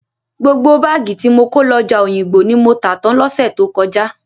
Gbogbo báàgì tí mo kó lọ ọjà Òyìngbò ni mo tà tán lọ́sẹ̀ tó kọjá.